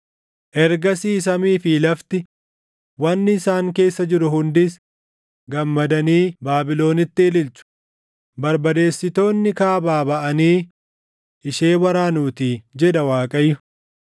Ergasii samii fi lafti, wanni isaan keessa jiru hundis, gammadanii Baabilonitti ililchu; barbadeessitoonni kaabaa baʼanii ishee waraanuutii” jedha Waaqayyo.